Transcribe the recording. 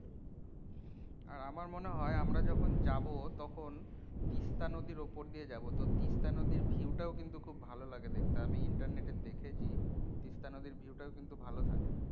আহ আমার মনে হয় আমরা যখন যাবো তখন তিস্তা নদীর অপর দিয়ে যাবো তো তিস্তা নদীর view টাও কিন্তু খুব ভালো লাগে দেখতে আমি internet এ দেখেছি তিস্তা নদীর view টাও কিন্তু ভালো লাগে।